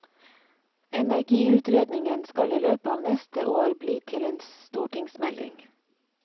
Energiutredningen skal i løpet av neste år bli til en stortingsmelding.